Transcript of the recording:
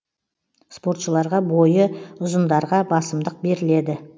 спортшыларға бойы ұзындарға басымдық беріледі